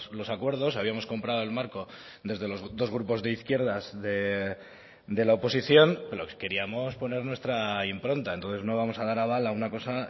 los acuerdos habíamos comprado el marco desde los dos grupos de izquierdas de la oposición lo que queríamos poner nuestra impronta entonces no vamos a dar aval a una cosa